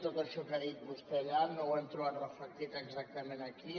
tot això que ha dit vostè allà no ho hem trobat reflectit exactament aquí